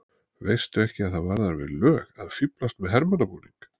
Veistu ekki að það varðar við lög að fíflast með hermannabúning!